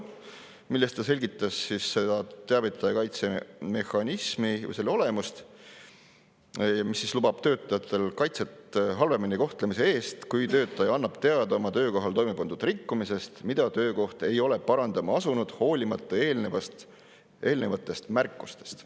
Minister selgitas teavitaja kaitse mehhanismi või selle olemust, mis lubab töötajale kaitset halvemini kohtlemise eest, kui töötaja annab teada oma töökohal toime pandud rikkumisest, mida töökoht ei ole parandama asunud, hoolimata eelnevatest märkustest.